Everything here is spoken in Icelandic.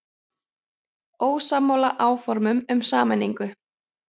Ósammála áformum um sameiningu